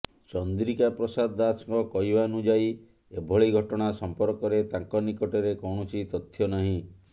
ଚନ୍ଦ୍ରିକା ପ୍ରସାଦ ଦାସଙ୍କ କହିବାନୁଯାୟୀ ଏଭଳି ଘଟଣା ସଂପର୍କରେ ତାଙ୍କ ନିକଟରେ କୌଣସି ତଥ୍ୟ ନାହିଁ